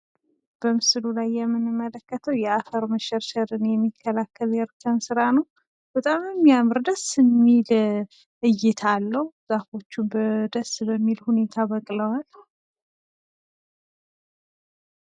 በምስሉ ላይ የምንመለከተው የአፈር መሸርሸርን የሚከላከል የእርከን ስራ ነው። በጣም ደስ የሚል እይታ አለው። ዛፎች ደስ በሚል ሁኔታ በቅለዋል።